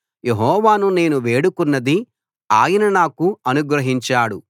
యెహోవాను నేను వేడుకొన్నది ఆయన నాకు అనుగ్రహించాడు